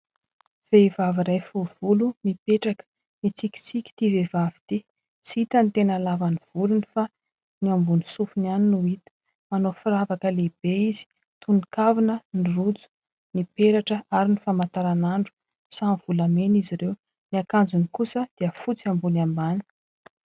Vehivavy iray fohy volo mipetraka. Mitsikitsiky ity vehivavy ity. Tsy hita ny tena halavan'ny volony fa ny ambony sofiny ihany no hita. Manao firavaka lehibe izy toy ny kavina, ny rojo, ny peratra ary ny famataranandro. Samy volamena izy ireo. Ny akanjony kosa dia fotsy ambony ambany.